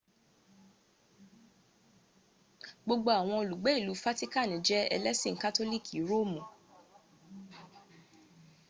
gbogbo awon olugbe ilu fatikani je elesin katoliki roomu